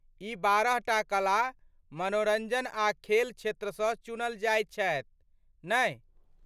ई बारहटा कला, मनोरञ्जन आ खेल क्षेत्रसँ चुनल जाइत छथि, नहि ?